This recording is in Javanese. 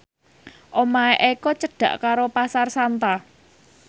omahe Eko cedhak karo Pasar Santa